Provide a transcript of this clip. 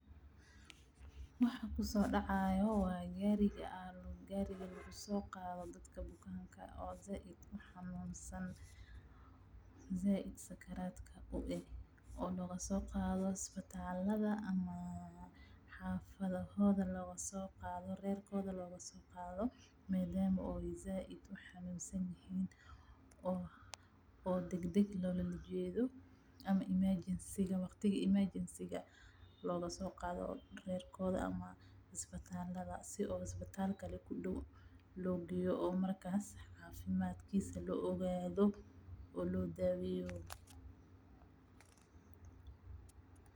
Waxaa kusoo dacaaya waa gaariga lagu soo qaado dadka bukaanka ah oo sait uxanuunsan sait sakaraadka u ah, oo looga soo qaado isbitalka ama xafadahooda looga soo qaado, reerkooda looga soo qaado si aay dagdag loola jeedo ama emergency looga soo qaado reerkooda ama isbitaalka si isbitaal ku dow loo geeyo oo markaas cafimaadkiisa loo ogaado oo loo daaweyo.